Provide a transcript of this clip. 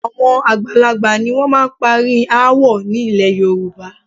Àwọn àgbàlagbà ni wọ́n máa ń parí aáwọ̀ nílẹ̀ Yorùbá